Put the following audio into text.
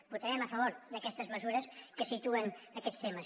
votarem a favor d’aquestes mesures que situen aquests temes